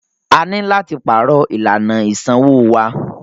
A ní láti pàrọ̀ ìlànà ìsanwó wa.